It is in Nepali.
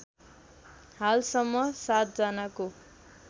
हालसम्म ७ जनाको